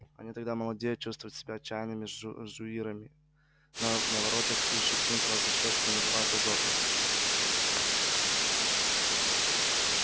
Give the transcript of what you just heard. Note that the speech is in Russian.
они тогда молодеют чувствуют себя отчаянными жуирами норовят ущипнуть вас за щёчку и называют озорницей